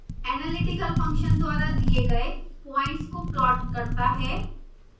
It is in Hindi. analytical function द्वारा दिए गए प्वाइंट्स को प्लॉट करता है